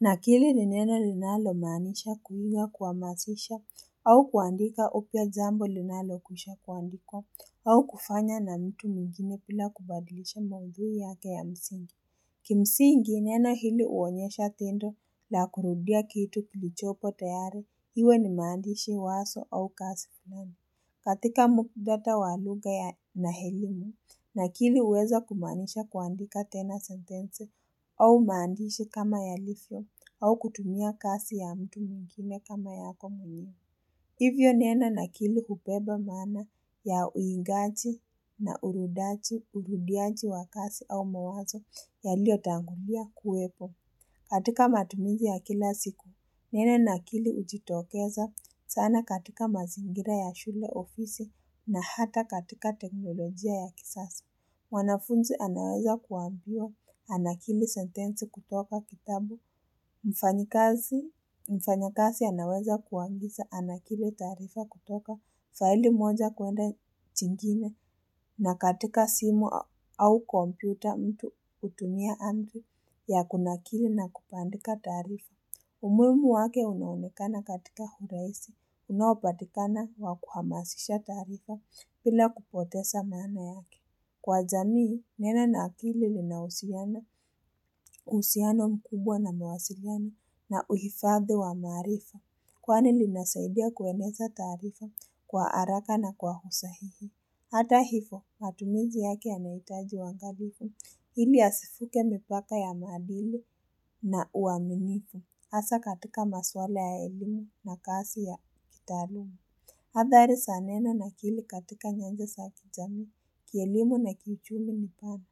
Nakili ni neno linalo maanisha kuiga kuamasisha, au kuandika upya jambo linalo kwisha kuandikwa, au kufanya na mtu mwingine pila kubadilisha maudhui yake ya msingi. Kimsingi neno hili uonyesha tendo la kurudia kitu kulichopo tayari, iwe ni maandishi waso au kasi fulani. Katika mukdata wa lugha ya na elimu, nakili uweza kumaanisha kuandika tena sentense au maandishi kama yalifyo au kutumia kasi ya mtu mwingine kama yako mwenyewe. Hivyo neno nakili hupeba maana ya uingaji na urudaji, urudiaji wa kasi au mawazo yaliotangulia kuwepo. Katika matumizi ya kila siku, neno nakili ujitokeza, sana katika mazingira ya shule ofisi na hata katika teknolojia ya kisasi. Wanafunzi anaweza kuambiwa, anakili sentenzi kutoka kitabu, mfanyakasi anaweza kuagiza, anakili taarifa kutoka, faili moja kuenda chingine. Na katika simu au kompyuta mtu hutumia Android ya kunakili na kupandika taarifa. Umuimu wake unaonekana katika huraisi, unaopatikana wa kuhamasisha taarifa pila kupotesa maana yake. Kwa jamii, neno na kili linausiano, uhusiano mkubwa na mawasiliano na uhifadhi wa maarifa. Kwani linasaidia kueneza taarifa kwa haraka na kwa usahihi. Hata hifo, matumizi yake yanaitaji uwangalifu. Ili asifuke mipaka ya maadili na uaminifu. Asa katika maswala ya elimu na kasi ya kitaaluma. Hathari sa neno na kili katika nyanja sa kijamii, kielimu na kichumi mpana.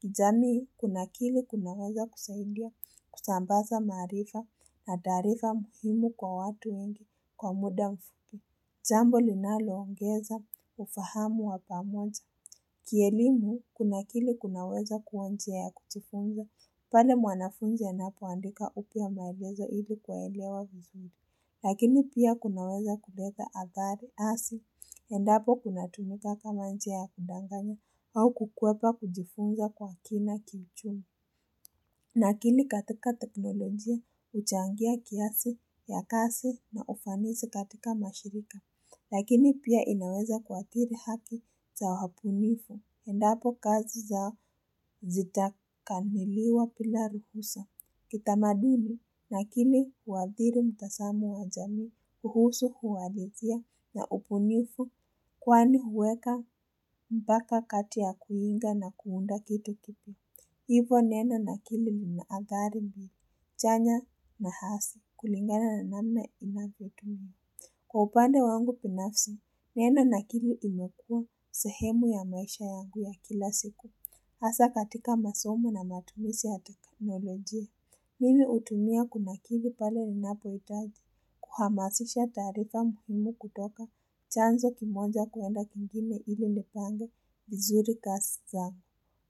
Kijamii kunakili kunaweza kusaidia kusambasa maarifa na taarifa muhimu kwa watu wengi kwa muda mfupi. Jambo linalo ongeza, ufahamu wapamoja. Kielimu, kunakili kunaweza kuwa njia ya kujifunza, pale mwanafunzi anapoandika upya maelezo ili kuwaelewa vizuri. Lakini pia kunaweza kuleta agari asi, endapo kuna tumika kama njia ya kudanganya au kukwepa kujifunza kwa kina kiichumi. Nakili katika teknolojia huchangia kiasi ya kasi na ufanisi katika mashirika, lakini pia inaweza kuathiri haki za wapunifu, endapo kazi zao zita kaniliwa pila ruhusa. Kitamaduni, nakili uadhiri mtasamo wa jamii, kuhusu uhalisia na upunifu, kwani huweka mbaka kati ya kuiga na kuunda kitu kipo. Hivo neno nakili lina adhari mbili, chanya na hasi, kulingana na namna inavyotumiwa. Kwa upande wangu pinafsi, neno nakili imekuwa sehemu ya maisha yangu ya kila siku. Hasa katika masomo na matumisi ya teknolojia. Mimi utumia kunakili pale ninapo itaji, kuhamasisha taarifa muhimu kutoka chanzo kimoja kuenda kingine ili nipange vizuri kasi zangu.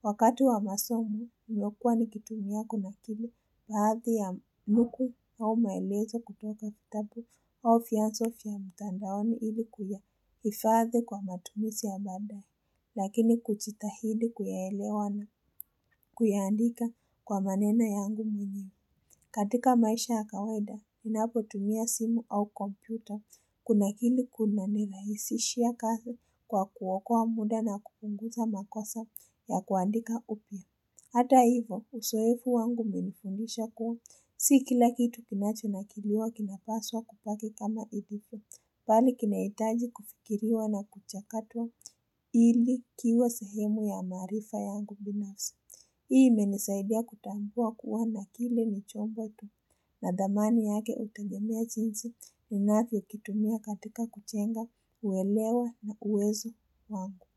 Wakati wa masomo, nilyokuwa nikitumia kunakili baadhi ya nukuu au maelezo kutoka kitabu au fyanso fya mtandaoni ili kuyahifadhi kwa matumisi ya baadae, lakini kuchitahidi kuyaelewa na kuyaandika kwa maneno yangu mwenyewe. Katika maisha ya kawaida, minapo tumia simu au kompyuta, kunakili kuna nirahisishia kazi kwa kuokoa muda na kupunguza makosa ya kuandika upya. Hata hivo, uzoefu wangu umenifundisha kuwa, si kila kitu kinacho nakiliwa kinapaswa kupaki kama ilivyo, bali kinaitaji kufikiriwa na kuchakatwa ili kiwe sehemu ya maarifa yangu binafsi. Hii imenisaidia kutambua kuwa nakili ni chombo tu na dhamani yake utagemea jinsi ni navyo kitumia katika kuchenga uwelewa na uwezo wangu.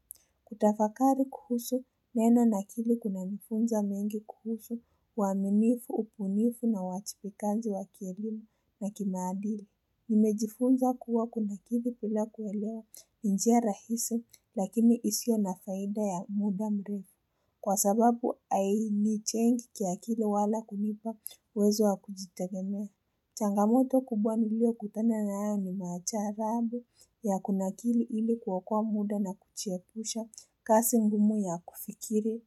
Kutafakari kuhusu, neno nakili kuna nifunza mengi kuhusu, uwaminifu, upunifu na uwachipikaji wa kielimu na kimaadili. Nimejifunza kuwa kunakili pila kuelewa njia rahisi lakini isio na faida ya muda mrefu. Kwa sababu ainichengi kiakili wala kunipa uwezo wa kujitegemea. Changamoto kubwa nilio kutana nayo ni macharabu ya kunakili ili kuokua muda na kuchiepusha kasi ngumu ya kufikiri.